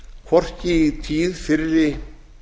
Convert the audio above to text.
hvorki í tíð fyrri